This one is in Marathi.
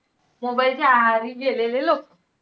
Mobile च्या आहारी गेलेले लोकं.